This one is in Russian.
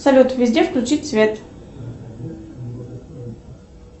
салют везде включить свет